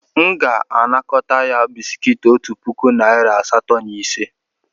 M ga-anakọta ya bisikiiti otu puku narị asatọ na ise.